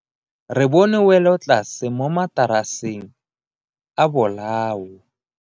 Re bone welotlase mo mataraseng a bolao.